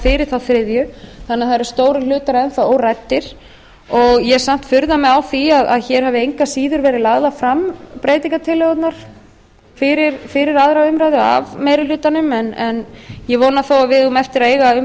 fyrir þriðju umræðu þannig að það eru stórir hlutar enn þá óræddir ég furða mig samt á því að hér hafi engu að síður verið lagðar fram breytingartillögurnar fyrir aðra umræðu af meiri hlutanum en ég vona þó að við eigum eftir að eiga um